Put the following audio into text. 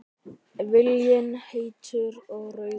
Viljinn heitur og rauður.